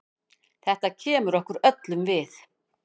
Þetta kemur okkur öllum við.